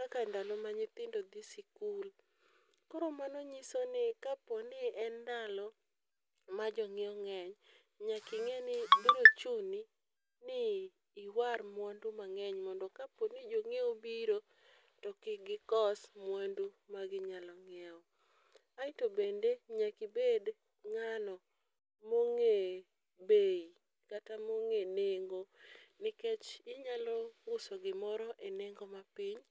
kaka ndalo ma nyithindo dhi sikul , koro mano nyiso ni kapo ni en ndalo ma jong'iewo ng'eny, nyaki ng'e ni biro chuni ni iwar mwandu mang'eny mondo kapo ni jong'iew obiro to kik gikos mwandu ma ginyalo nyiewo. Aeto bende nyaki bed ng'ano mong'e bei kata mong'e nengo nikech inyalo use gimoro e nengo mapiny